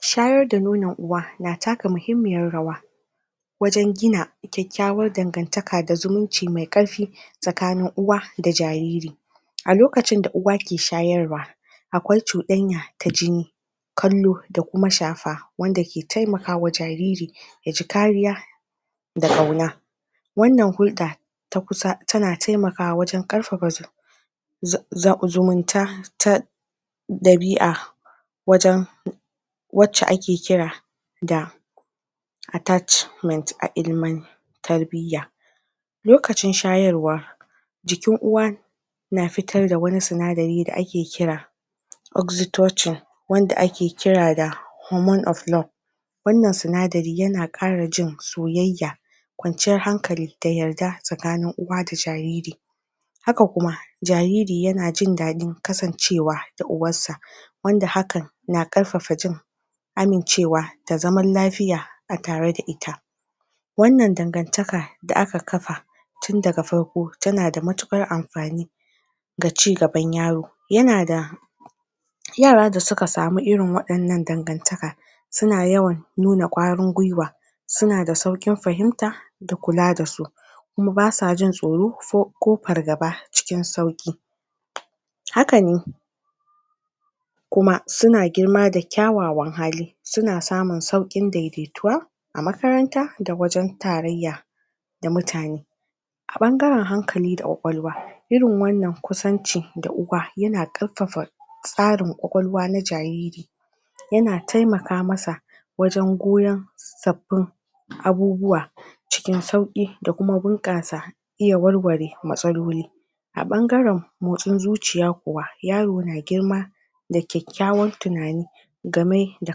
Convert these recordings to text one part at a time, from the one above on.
shayar da nonon uwa na taka muhimmiyar rawa wajan gina ƙyaƙyawar dangantaka da zumunci mai ƙarfi tsakanin uwa da jariri a lokacin da uwa ke shayarwa aƙwai cuɗanya ta jini kallo da kuma shafa wanda ke taimakawa jariri yaji kariya da kauna wannna hulɗa ta kusa tana taimakawa wajan ƙarfafa zumunta ta ɗabi'a wajan wacce ake kira da attachment a ilimin tarbiyya lokacin shayarwa na fitar da wani sinadari da ake kira oxytocin wanda ake kira da hormonof flow wannan sinadari yana ƙara jin soyayaya ƙwanciyar hankali da yarda tsakanin uwa da jariri haka kuma jariri yana jindaɗin kasancewa da uwassa wanda hakan na ƙarfafa jin amincewa da zaman lafiya a tare da ita wannan dangantaka da aka kafa tunda ga farko tana da matuƙar amfani ga cigaban yaro yana da yara da suka samu irin waɗannan dangantaka suna yawan nuna ƙwarin gwiwa suna da sauƙin fahimta da kula dasu kuma basa jin tsoro ko fargaba cikin sauƙi hakane kuma suna girma da ƙyawawan hali suna samun sauƙin adaidaituwa a makaranta da wajan tarayya da mutane a ɓangaran hankali da ƙ waƙwalwa irin wannan kusanci da uwa yana ƙarfafa tsarin ƙwaƙwalwa na jariri yana taimaka masa wajan goyan sabbin abubuwa cikin sauƙi da kuma bunƙasa iya warware matsaloli a ɓanganran motsin zuciya kuwa yaro na girma da ƙyaƙyawan tunani game da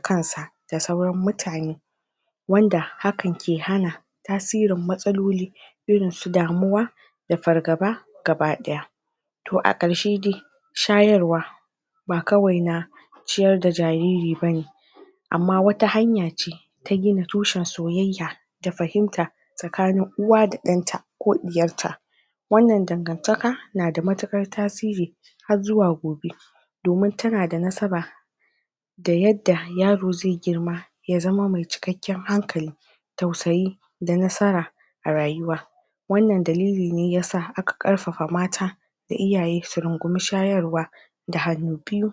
kansa da sauran mutane wanda hakan ke hana tasirin matsaloli irinsu damuwa da fargaba gaba ɗaya to a ƙarshe dai shayarwa ba kawai na ciyar da jariri bane amma wata hanya ce ta gina tushen soyayya da fahimta tsakanin uwa da ɗanta ko ɗiyarta wannan dangantaka nada matuƙar tasiri har zuwa gobe domin tana da nasaba da yadda yaro zai girma ya zama mai cikakkan hankali tausayi da nasara a rayuwa wannan dalili ne yasa aka ƙarfafa mata da iyaye su rungume shayarwa da hannu biyu